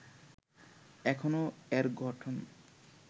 এখনও এর গঠন